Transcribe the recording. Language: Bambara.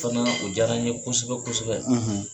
o diyara n ye kosɛbɛ kosɛbɛ.